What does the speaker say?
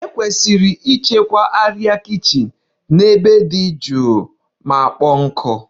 E kwesiri ịchekwa arịa kichin n'ebe dị jụụ ma kpọọ nkụ.